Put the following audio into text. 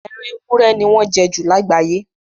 Ẹran ewúrẹ́ ni wọ́n jẹ ju lágbàáye.